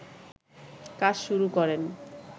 কাজ শুরু করেন